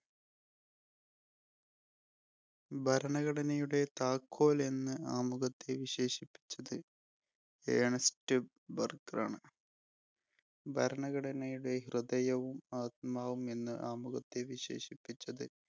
ഭരണഘടനയുടെ താക്കോൽ എന്ന് ആമുഖത്തെ വിശേഷിപ്പിച്ചത് ഏണസ്‌റ്റ് ബർഗറാണ്. ഭരണഘടനയുടെ ഹൃദയവും, ആത്മാവും എന്ന് ആമുഖത്തെ വിശേഷിപ്പിച്ചത്